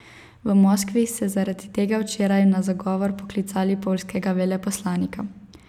V Moskvi so zaradi tega včeraj na zagovor poklicali poljskega veleposlanika.